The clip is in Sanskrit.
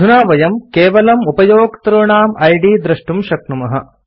अधुना वयं केवलम् उपयोक्तॄणाम् इद् द्रष्टुं शक्नुमः